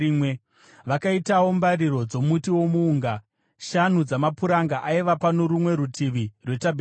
Vakaitawo mbariro dzomuti womuunga: shanu dzamapuranga aiva pano rumwe rutivi rwetabhenakeri,